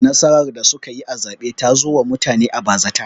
Nasarar da suka yi a zaɓen ta zo wa mutane a bazata